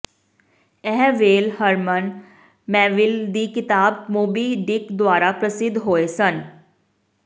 ਇਹ whale Herman Melville ਦੀ ਕਿਤਾਬ ਮੋਬੀ ਡਿਕ ਦੁਆਰਾ ਪ੍ਰਸਿੱਧ ਹੋਏ ਸਨ